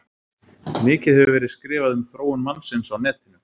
Mikið hefur verið skrifað um þróun mannsins á netinu.